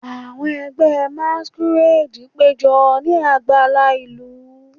Awọn ẹgbẹ masquerade pejọ ni agbala ilu,